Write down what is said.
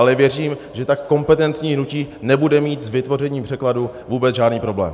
Ale věřím, že tak kompetentní hnutí nebude mít s vytvořením překladu vůbec žádný problém.